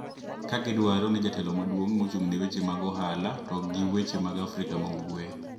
Ka gidwaro ni jatelo maduong` mochung` ne weche ohala to gi weche mag Afrika ma ugwe